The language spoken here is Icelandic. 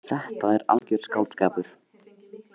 Þetta er algjör skáldskapur.